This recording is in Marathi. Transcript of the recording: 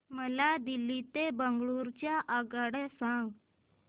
मला दिल्ली ते बंगळूरू च्या आगगाडया सांगा